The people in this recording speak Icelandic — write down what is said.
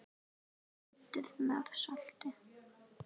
Kryddið með salti.